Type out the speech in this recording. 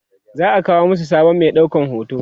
za'a kawo masu sabon Mai ɗaukan hoto